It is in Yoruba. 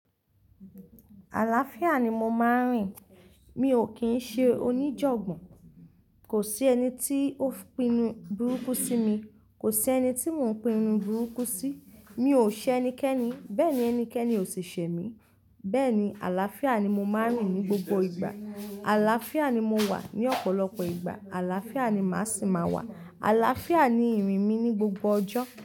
Àlàáfíà ni mo máa ń rìn. Mi ò kín ń ṣe oníjọ̀gbọ́n. Kò sí ẹni tí ó pinnu burúkú sí mi. Kò sí ẹni tí mò ń pinnu burúkú sí. Mi ò ṣẹ ẹnikẹ́ni, bẹ́ẹ̀ ni ẹnikẹ́ni ò sì ṣẹ mí. Bẹ́ẹ̀ ni àlàáfíà ni mo máa ń rìn ní gbogbo ìgbà. Àlàáfíà ni mo wà ní ọ̀pọ̀lọpọ̀ ìgbà. Àlàáfíà ni màá sì máa wà. Àlàáfíà ni ìrìn mi ní gbogbo ọjọ́.